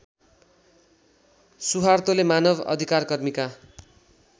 सुहार्तोले मानव अधिकारकर्मीका